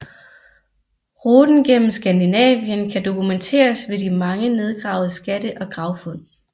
Ruten gennem Skandinavien kan dokumenteres ved de mange nedgravede skatte og gravfund